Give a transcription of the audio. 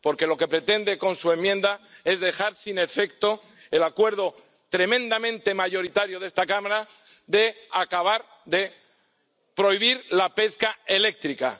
Porque lo que pretende con su enmienda es dejar sin efecto el acuerdo tremendamente mayoritario de esta Cámara de acabar de prohibir la pesca eléctrica.